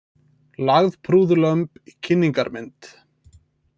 Lagðprúð lömb í kynningarmynd